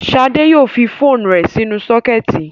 Ṣadé yóò fi phone rẹ̀ sínú sọ́kẹ́tì.